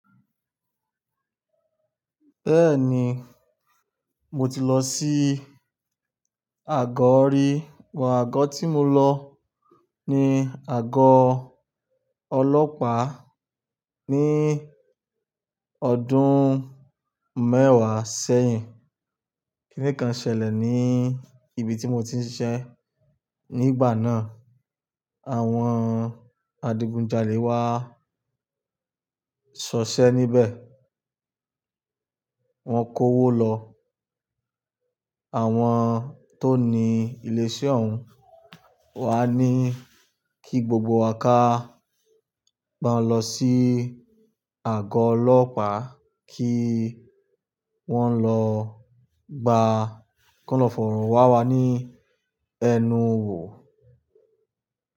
Bẹ́ẹ̀ni, mo ti lọ sí àgọ́ rí, but àgọ́ tí mo lọ ni àgọ́ ọlọ́pàá ní ọdún mẹ́wàá sẹ́yìn. Kíni kan ṣẹlẹ̀ ní ibi tí mo ti ń ṣiṣẹ́ nígbà náà, àwọn adigunjalè wá sọṣẹ́ níbẹ̀. Wọ́n kó owó lọ. Àwọn tó ní ilé iṣẹ́ òún wá ní kí gbogbo wa ká gba lọ sí àgọ́ ọlọ́pàá kí wọ́n lọ gba kọ́lọfùrún wá wá ní ẹnu wò.